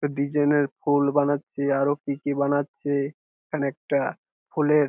design এর ফুল বানাচ্ছে আর ও কি কি বানাচ্ছে এখানে একটা ফুলের--